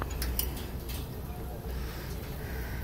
имеется ли у тебя фильмище жанра приключение